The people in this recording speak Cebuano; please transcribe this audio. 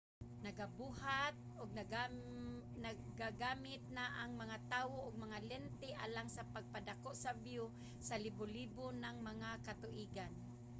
nagabuhat ug nagagamit na ang mga tawo og mga lente alang sa pagpadako sa view sa libo-libo nang mga katuigan